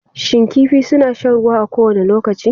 Shin kifi suna shan ruwa a kowane lokaci?